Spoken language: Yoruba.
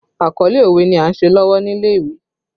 Àkọlé òwe ni a ń ṣe lọ́wọ́ nílé ìwé